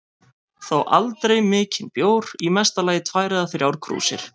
Þó aldrei mikinn bjór, í mesta lagi tvær eða þrjár krúsir.